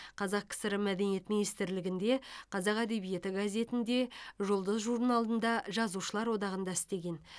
қазақ кср мәдениет министрлігінде қазақ әдебиеті газетінде жұлдыз журналында жазушылар одағында істеген